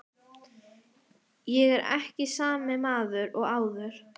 Ég er ekki sami maður og áður.